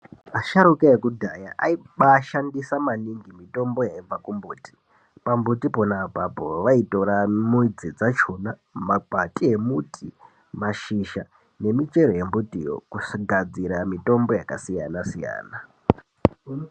Asharuka ekudhaya aiba shandisa maningi mitombo yaibva ku mbuti pa mbuti pona apapo vaitora mudzi dzakona makwati e mbuti mashizha ne michero ye mbutiyo kugadzira mitombo yaka siyana siyana.